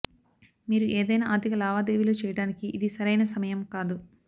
మీరు ఏదైనా ఆర్థిక లావాదేవీలు చేయడానికి ఇది సరైన సమయం కాదు